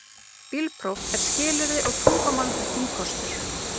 Bílpróf er skilyrði og tungumálaþekking kostur